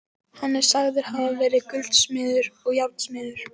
Hann er sagður hafa verið gullsmiður og járnsmiður.